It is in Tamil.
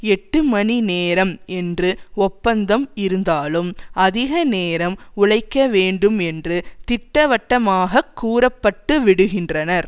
எட்டு மணி நேரம் என்று ஒப்பந்தம் இருந்தாலும் அதிக நேரம் உழைக்க வேண்டும் என்று திட்டவட்டமாக கூறப்பட்டுவிடுகின்றனர்